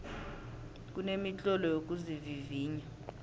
kunemitlolo yokuzivivinya